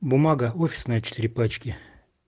бумага офисная четыре пачки